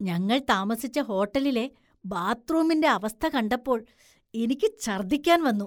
ഞങ്ങള്‍ താമസിച്ച ഹോട്ടലിലെ ബാത്ത്‌റൂമിന്റെ അവസ്ഥ കാണ്ടപ്പോള്‍ എനിക്ക് ഛര്‍ദ്ദിക്കാന്‍ വന്നു